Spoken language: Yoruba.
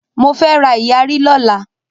mọ fẹ rá iyari ló là.